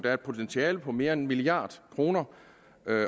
er et potentiale på mere end en milliard kroner